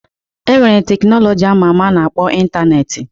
E nwere teknọlọji ama ama a na-akpọ Ịntaneetị.